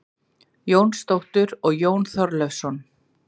Jónsdóttur og Jón Þorleifsson.